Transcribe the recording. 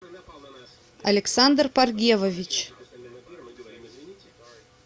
александр паргевович